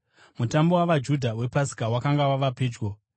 Mutambo wavaJudha wePasika wakanga wava pedyo.